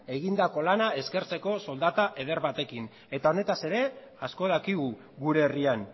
egindako lana eskertzeko soldata eder batekin eta honetaz ere asko dakigu gure herrian